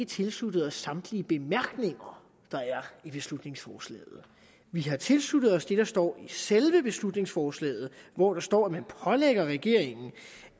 tilsluttet os samtlige bemærkninger der er i beslutningsforslaget vi har tilsluttet os det der står i selve beslutningsforslaget hvor der står at man pålægger regeringen